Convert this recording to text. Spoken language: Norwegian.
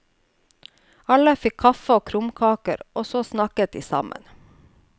Alle fikk kaffe og krumkaker, og så snakket de sammen.